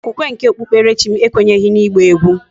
okwukwe nke okpukperechim ekwenyeghi na igba egwu